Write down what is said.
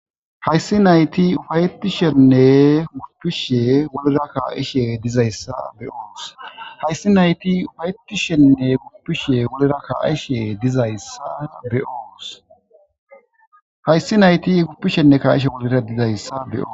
Hayssi nayti ufayetishenne guppishe wolera ka7ishe dizayssa beyoos hayssi nayti ufayetishenne guppishe wolera kaishe dizayssa beoos hayssi nayti guppishenne ka7ishe wolera dizayssa beyoo